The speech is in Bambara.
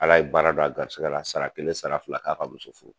Ala ye baara don a garisigɛ la sara kelen sara fila k'a ka muso furu